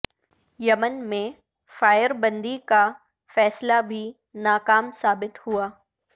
یمن میں فائر بندی کا فیصلہ بھی ناکام ثابت ہوا